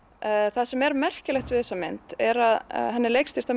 það sem er merkilegt við þessa mynd er að henni er leikstýrt af